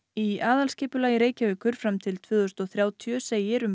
í aðalskipulagi Reykjavíkur fram til tvö þúsund og þrjátíu segir um